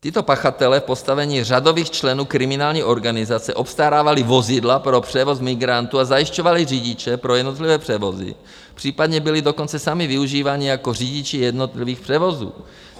Tito pachatelé v postavení řadových členů kriminální organizace obstarávali vozidla pro převoz migrantů a zajišťovali řidiče pro jednotlivé převozy, případně byli dokonce sami využíváni jako řidiči jednotlivých převozů.